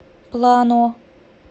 плано